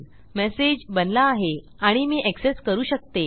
message बनला आहे आणि मी एक्सेस करू शकतो